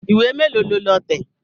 Ìwé mélòó lo lọ tẹ̀?